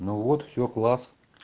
ну вот все класс